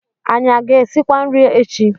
Anyị a ga-esikwa nri echi?